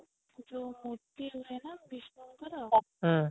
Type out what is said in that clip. ଯଉ ମୂର୍ତ୍ତି ହୁଏ ନା ବିଷ୍ଣୁ ଙ୍କର